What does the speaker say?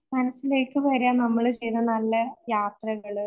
മനസ്സിലേക്ക് വരാൻ നമ്മള് നല്ല യാത്രകള്